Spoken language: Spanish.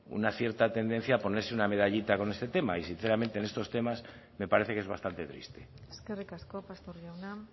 una cierta tendencia a ponerse una medallita con este tema y sinceramente en estos temas me parece que es bastante triste eskerrik asko pastor jauna